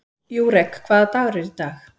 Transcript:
Júrek, hvaða dagur er í dag?